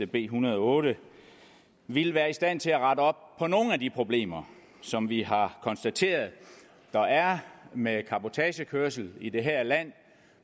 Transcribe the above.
b en hundrede og otte ville være i stand til at rette op på nogle af de problemer som vi har konstateret der er med cabotagekørsel i det her land